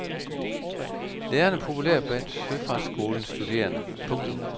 Læreren er populær blandt søfartsskolens studerende. punktum